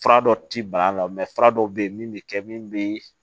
Fura dɔ ti ban a la fura dɔw bɛ ye min bɛ kɛ min bɛ